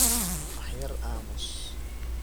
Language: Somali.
Wax yar amuus.